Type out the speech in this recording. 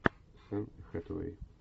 энн хэтэуэй